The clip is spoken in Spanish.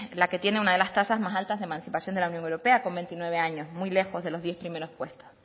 la que tiene una de las tasas más altas de emancipación de la unión europea con veintinueve años muy lejos de los diez primeros puestos